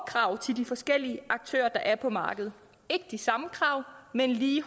krav til de forskellige aktører der er på markedet ikke de samme krav men lige